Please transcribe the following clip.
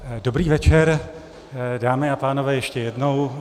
Dobrý večer, dámy a pánové, ještě jednou.